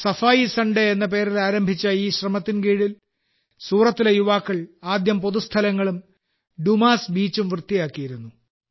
സഫായി Sunday എന്ന പേരിൽ ആരംഭിച്ച ഈ ശ്രമത്തിൻ കീഴിൽ സൂറത്തിലെ യുവാക്കൾ ആദ്യം പൊതുസ്ഥലങ്ങളും ഡുമാസ് ബീച്ചും വൃത്തിയാക്കിയിരുന്നു